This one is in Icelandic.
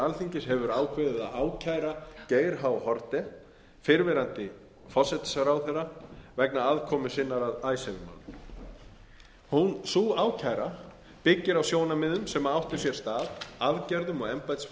alþingis hefur ákveðið að ákæra geir h haarde fyrrverandi forsætisráðherra vegna aðkomu sinnar að icesave málinu sú ákæra byggir á sjónarmiðum sem áttu sér stað aðgerðum og embættisfærslum sem áttu